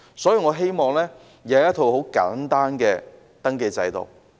所以，我希望有一套簡單的登記制度。